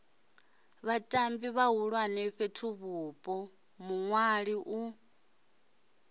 vhatambi vhahulwane fhethuvhupo muṅwali u